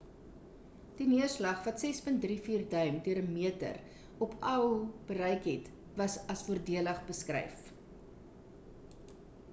die neerslag wat 6.34 duim deur 'n meter op oahu bereik het was as voordelig beskryf